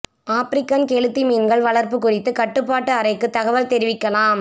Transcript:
African கெளுத்தி மீன்கள் வளா்ப்பு குறித்து கட்டுப்பாட்டு அறைக்கு தகவல் தெரிவிக்கலாம்